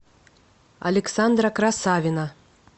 александра красавина